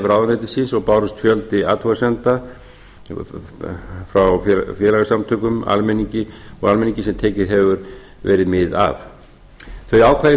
ráðuneytisins og bárust fjöldi athugasemda frá félagasamtökum og almenningi sem tekið hefur verið mið af þau ákvæði